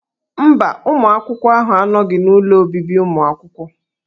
Mba, ụmụ akwụkwọ ahụ anọghị n'ụlọ obibi ụmụ akwụkwọ.